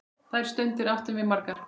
Þær stundir áttum við margar.